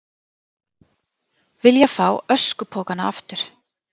Vilja fá öskupokana aftur